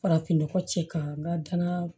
Farafinnɔgɔ cɛ ka n ka dana